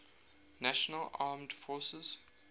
national armed forces